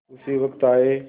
उसी वक्त आये